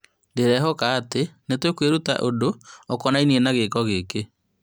Nĩndĩrehoka atĩ nĩtũkwĩruta ũndũ ũkonainie na gĩko gĩkĩ